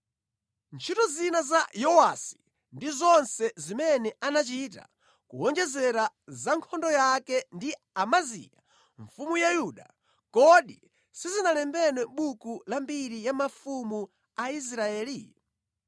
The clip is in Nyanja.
Ntchito zina za Yehowasi ndi zonse zimene anachita, kuwonjezera za nkhondo yake ndi Amaziya mfumu ya Yuda, kodi sizinalembedwe mʼbuku la mbiri ya mafumu a Israeli?